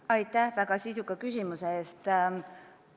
Aitäh väga sisuka küsimuse eest!